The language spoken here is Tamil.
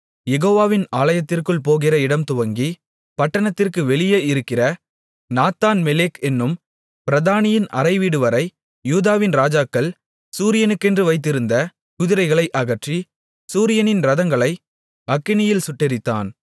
யெகோவாவின் ஆலயத்திற்குள் போகிற இடம்துவங்கி பட்டணத்திற்கு வெளியே இருக்கிற நாத்தான்மெலெக் என்னும் பிரதானியின் அறைவீடுவரை யூதாவின் ராஜாக்கள் சூரியனுக்கென்று வைத்திருந்த குதிரைகளை அகற்றி சூரியனின் இரதங்களை அக்கினியில் சுட்டெரித்தான்